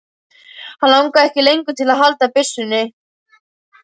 Hann langaði ekki lengur til að halda byssunni.